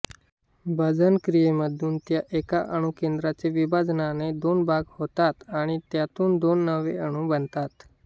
भंजन क्रियेमध्ये त्या एका अणुकेंद्राचे विभाजनाने दोन भाग होतात आणि त्यातून दोन नवे अणु बनतात